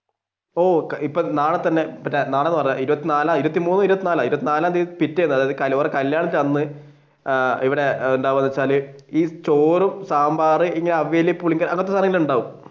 ഓഹ് ഇപ്പൊ നാളെ തന്നെ നാളെ ഇരുപതിന്നാലാ ഇരുപത്തിമൂന്നോ കല്യാണത്തിന്റെ അന്ന് ഇവിടെ എന്താണെന്ന് വെച്ചാൽ ചോറ് സാമ്പാർ അവിയൽ പുളിങ്കറി അതൊക്കെയുണ്ടാവും.